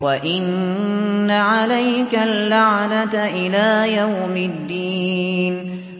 وَإِنَّ عَلَيْكَ اللَّعْنَةَ إِلَىٰ يَوْمِ الدِّينِ